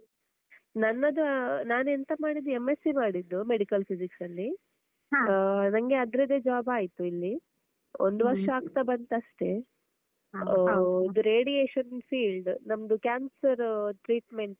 ನನ್ನದು ಅಹ್ ನಾನ್ ಎಂತ ಮಾಡಿದ್ದೂ MSC ಮಾಡಿದ್ದೂ Medical Physics ಅಲ್ಲೀ, ಆಹ್ ನಂಗೆ ಅದ್ರದ್ದೇ job ಆಯ್ತು ಇಲ್ಲೀ, ಒಂದ್ ವರ್ಷ ಆಗ್ತಾ ಬಂತಷ್ಟೇ ಆಹ್ radiation field ನಮ್ದು cancer treatment .